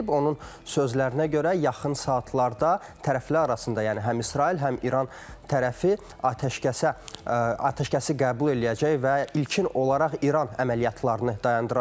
Onun sözlərinə görə yaxın saatlarda tərəflər arasında, yəni həm İsrail, həm İran tərəfi atəşkəsə, atəşkəsi qəbul eləyəcək və ilkin olaraq İran əməliyyatlarını dayandıracaq.